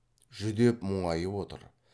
жүдеп мұңайып отыр